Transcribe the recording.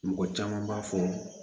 Mɔgɔ caman b'a fɔ